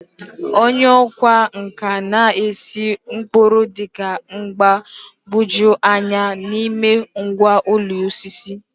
Onye ọkwá nkà na-ese ụkpụrụ dị mgbagwoju anya n'ime ngwá ụlọ osisi.